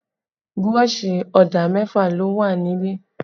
Burọ̀ṣì ọ̀dà mẹfa ló wà nílẹ̀